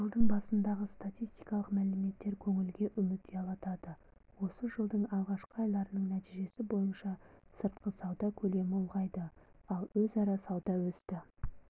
жылдың басындағы статистикалық мәліметтер көңілге үміт ұялатады осы жылдың алғашқы айларының нәтижесі бойынша сыртқы сауда көлемі ұлғайды ал өзара сауда өсті